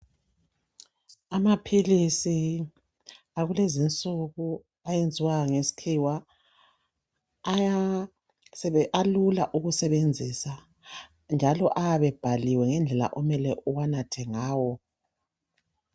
Amaphilisi akulezi insuku ayenzwe ngesikhiwa alula ukusebenzisa njalo ayabe ebhaliwe ngendlela okumele uwanathe ngawo.